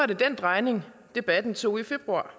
det den drejning debatten tog i februar